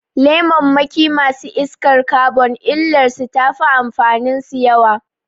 Lemammakin masu iskar kabon illar su tafi amfanin su yawa